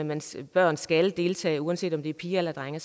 man siger at børn skal deltage uanset om det er piger eller drenge